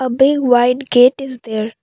A big white gate is there.